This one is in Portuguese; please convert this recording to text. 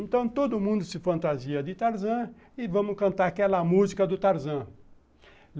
Então, todo mundo se fantasia de Tarzan e vamos cantar aquela música do Tarzan.